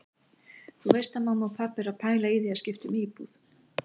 Þú veist að mamma og pabbi eru að pæla í því að skipta um íbúð.